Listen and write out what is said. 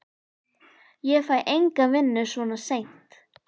Ég fæ enga vinnu svona seint.